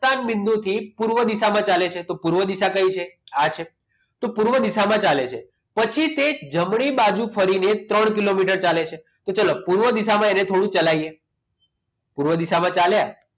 પ્રસ્થાની બિંદુથી પૂર્વ દિશામાં ચાલે છે તો પૂર્વ દિશા કઈ છે આ છે તો પૂર્વ દિશામાં ચાલે છે પછી તે જમણી બાજુ ફરીને ત્રણ કિલોમીટર ચાલે છે તો ચાલો પૂર્વ દિશામાં એણે થોડું ચલાવીએ પૂર્વ દિશામાં ચાલે